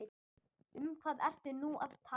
Um hvað ertu nú að tala?